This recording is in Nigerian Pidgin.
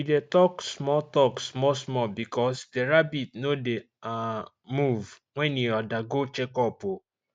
we dey talk small talk small small because the rabbit no dey um move when e dey undergo check up um